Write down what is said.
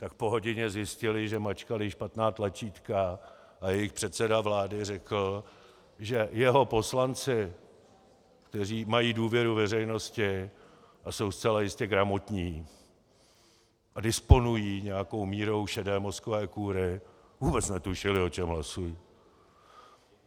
Tak po hodině zjistili, že mačkali špatná tlačítka, a jejich předseda vlády řekl, že jeho poslanci, kteří mají důvěru veřejnosti, jsou zcela jistě gramotní a disponují nějakou mírou šedé mozkové kůry, vůbec netušili, o čem hlasují.